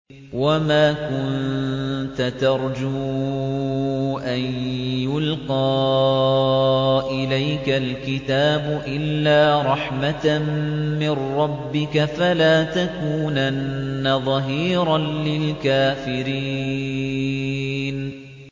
وَمَا كُنتَ تَرْجُو أَن يُلْقَىٰ إِلَيْكَ الْكِتَابُ إِلَّا رَحْمَةً مِّن رَّبِّكَ ۖ فَلَا تَكُونَنَّ ظَهِيرًا لِّلْكَافِرِينَ